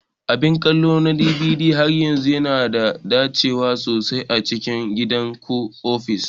Abin kallo na DVD har yanzu yana da dacewa sosai a cikin gida ko ofis.